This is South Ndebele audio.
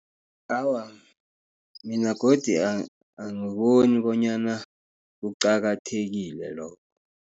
Awa, mina godi angiboni bonyana kuqakathekile lokho.